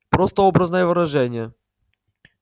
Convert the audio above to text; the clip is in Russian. просто образное выражение